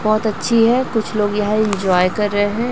बहुत अच्छी है कुछ लोग यह एन्जॉय कर रहे हैं।